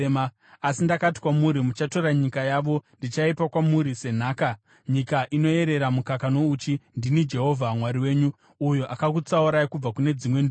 Asi ndakati kwamuri, “Muchatora nyika yavo. Ndichaipa kwamuri senhaka, nyika inoerera mukaka nouchi.” Ndini Jehovha Mwari wenyu uyo akakutsaurai kubva kune dzimwe ndudzi.